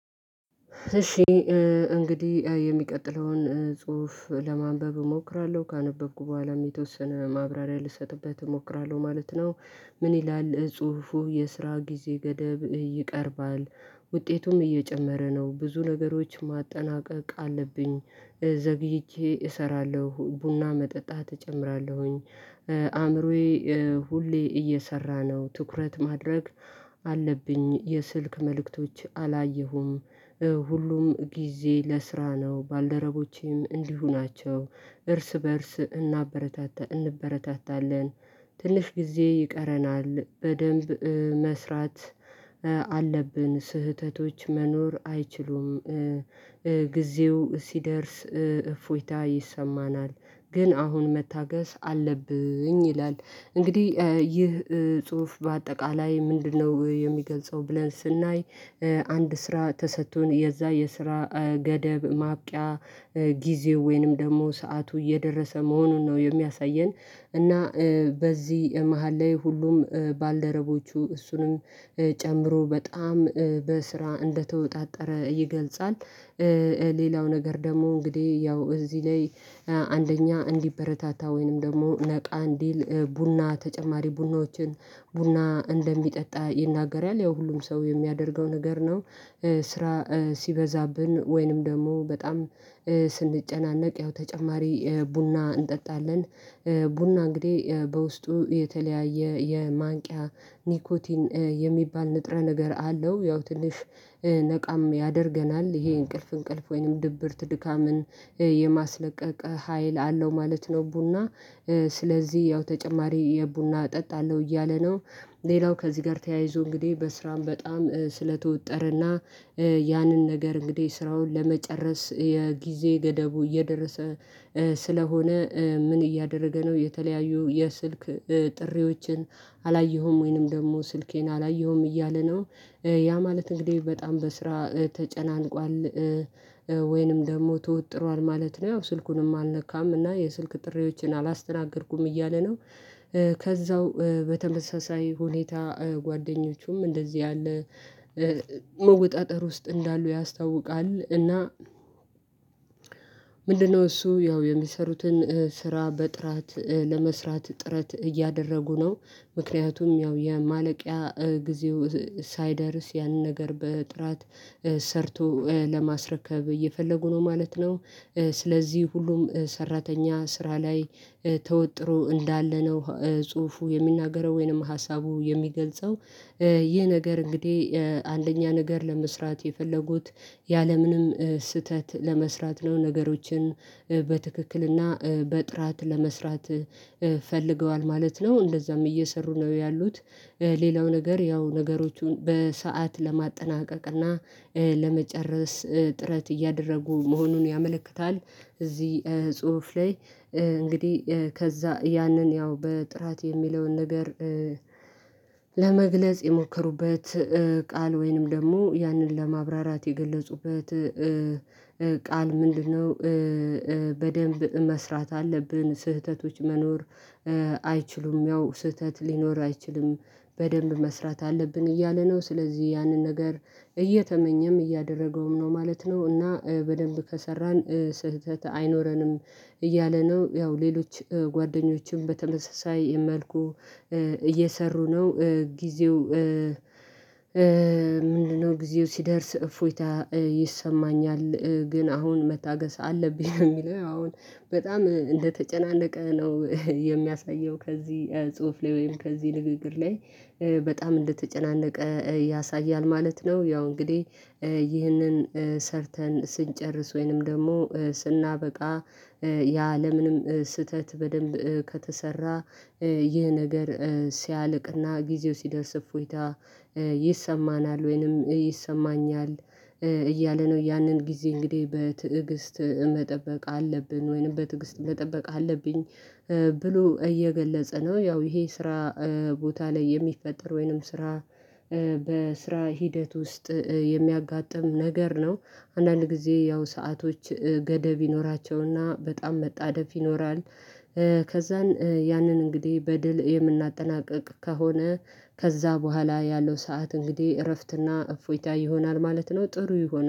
እሺ እንግዲህ የሚቀጥለውን ጽሁፍ ለማንበብ እሞክራለሁ ካነበብኩ በኋላ የተወሰነ ማብራሪያ ልሰጥበት እሞክራለሁ ማለት ነው። ምን ይላል ጽሁፉ የስራ ጊዜ ገደብ ይቀርባል? ውጤቱም እየጨመረ ነው ብዙ ነገሮች ማጠናቀቅ አለብኝ ዘግይቼ እሰራለሁ ቡና መጠጣት እጨምራለሁኝ። አእምሮዬ ሁሌ እየሰራ ነው ትኩረት ማድረግ አለብኝ የስልክ መልእክቶች አላየሁም። ሁሉም ጊዜ ለስራ ነው ባልደረቦቼም እንዲሁ ናቸው። እርስ በእርስ እናበረታታ እንበረታታለን። ትንሽ ጊዜ ይቀረናል በደንብ መስራት አለብን ስህተቶች መኖር አይችሉም። ጊዜው ሲደርስ እፎይታ ይሰማናል። ግን አሁን መታገስ አለብኝ ይላል። እንግዲህ ይህ ጽሁፍ በአጠቃላይ ምንድነው የሚገልጸው ብለን ስናይ? አንድ ስራ ተሰጥቶን የዛ የስራ ገደብ ማብቂያ ጊዜው ወይንም ደግሞ ሰዓቱ እየደረሰ መሆኑን ነው የሚያሳየን። እና በዚህ መሃል ላይ ሁሉም ባልደረቦቹ እሱንም ጨምሮ በጣም በስራ እንደተወጣጠረ ይገልጻል። ሌላው ነገር ደግሞ እንግዲህ ያው እዚህ ላይ። አንደኛ እንዲበረታታ ወይንም ደግሞ ነቃ እንዲል ቡና ተጨማሪ ቡናዎችን ቡና እንደሚጠጣ ይናገራል ያው ሁሉም ሰው የሚያደርገው ነገር ነው። ስራ ሲበዛብን ወይንም ደግሞ በጣም ስንጨናነቅ ያው ተጨማሪ ቡና እንጠጣለን። ቡና እንግዲህ በውስጡ የተለያየ የማንቂያ ኒኮቲን የሚባል ንጥረ ነገር አለው ያው ትንሽ ነቃም ያደርገናል ይሄ እንቅልፍ እንቅልፍ ወይንም ድብርት ድካምን የማስለቀቅ ሀይል አለው ማለት ነው። ቡና ስለዚህ ያው ተጨማሪ የቡና እጠጣለሁ እያለ ነው። ሌላው ከዚህ ጋር ተያይዞ እንግዲህ በስራም በጣም ስለተወጠረና። ያንን ነገር እንግዲህ ስራውን ለመጨረስ የጊዜ ገደቡ እየደረሰ ስለሆነ ምን እያደረገ ነው የተለያዩ የስልክ ጥሪዎችን አላየሁም ወይንም ደግሞ ስልኬን አላየሁም እያለ ነው። ያ ማለት እንግዲህ በጣም በስራ ተጨናንቋል። ወይንም ደግሞ ተወጥሯል ማለት ነው። ያው ስልኩንም አልነካም እና የስልክ ጥሪዎችን አላስተናገድኩም እያለ ነው። ከዛው በተመሳሳይ ሁኔታ ጓደኞቹም እንደዚህ ያለ መወጣጠር ውስጥ እንዳሉ ያስታውቃል። እና። ምንድነው እሱ ያው የሚሰሩትን ስራ በጥራት ለመስራት ጥረት እያደረጉ ነው። ምክንያቱም ያው የማለቂያ ጊዜው ሳይደርስ ያንን ነገር በጥራት ሰርቶ ለማስረከብ እየፈለጉ ነው ማለት ነው። ስለዚህ ሁሉም ሰራተኛ ስራ ላይ ተወጥሮ እንዳለ ነው ጽሁፉ የሚናገረው ወይንም ሀሳቡ የሚገልጸው። ይህ ነገር እንግዲህ አንደኛ ነገር ለመስራት የፈለጉት ያለምንም ስህተት ለመስራት ነው ነገሮችን በትክክልና በጥራት ለመስራት ፈልገዋል ማለት ነው። እንደዛም እየሰሩ ነው ያሉት። ሌላው ነገር ያው ነገሮቹን በሰአት ለማጠናቀቅ እና ለመጨረስ ጥረት እያደረጉ መሆኑን ያመለክታል። እዚህ ጽሁፍ ላይ እንግዲህ ከዛ ያንን ያው በጥራት የሚለውን ነገር ለመግለጽ የሞከሩበት ቃል ወይንም ደግሞ ያንን ለማብራራት የገለጹበት ቃል ምንድነው? በደንብ መስራት አለብን ስህተቶች መኖር አይችሉም ያው ስህተት ሊኖር አይችልም። በደንብ መስራት አለብን እያለ ነው። ስለዚህ ያንን ነገር እየተመኘም እያደረገውም ነው ማለት ነው። እና በደንብ ከሰራን ስህተት አይኖረንም። እያለ ነው ያው ሌሎች ጓደኞችም በተመሳሳይ መልኩ እየሰሩ ነው። ጊዜው። ምንድነው? ጊዜው ሲደርስ እፎይታ ይሰማኛል ግን አሁን መታገስ አለብኝ ነው የሚለው አሁን በጣም እንደተጨናነቀ ነው የሚያሳየው። ከዚህ ጽሁፍ ላይ ወይም ከዚህ ንግግር ላይ በጣም እንደተጨናነቀ ያሳያል ማለት ነው። ያው እንግዲህ። ይህንን ሰርተን ስንጨርስ ወይንም ደግሞ ስናበቃ ያለምንም ስህተት በደንብ ከተሰራ ይህ ነገር ሲያልቅና ጊዜው ሲደርስ እፎይታ ይሰማናል ወይንም ይሰማኛል። እያለ ነው ያንን ጊዜ እንግዲህ በትዕግስት መጠበቅ አለብን ወይንም በትዕግስት መጠበቅ አለብኝ። ብሎ እየገለጸ ነው። ያው ይሄ ስራ ቦታ ላይ የሚፈጠር ወይንም ስራ በስራ ሂደት ውስጥ የሚያጋጥም ነገር ነው። አንዳንድ ጊዜ ያው ሰአቶች ገደብ ይኖራቸውና በጣም መጣደፍ ይኖራል። ከዛን ያንን እንግዲህ በድል የምናጠናቅቅ ከሆነ ከዛ በኋላ ያለው ሰዓት እንግዲህ እረፍትና እፎይታ ይሆናል ማለት ነው። ጥሩ ይሆናል